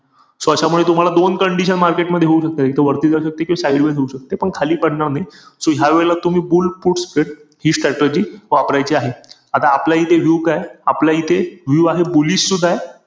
So अशामुळे तुम्हाला दोन condition market market मध्ये होऊ शकता. इथे वरती जाऊ शकते किंवा sideways होऊ शकते. पण खाली पडणार नाही. So ह्यावेळेला तुम्ही bull put spread हि strategy वापरायची आहे. आता आपल्या इथे view काये? आपल्या इथे view आहे bullish सुद्धा ए.